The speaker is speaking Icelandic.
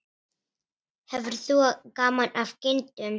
Hefur þú gaman af kindum?